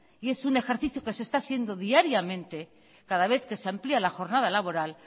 y es un ejercicio que se está haciendo diariamente cada vez que se amplía la jornada laboral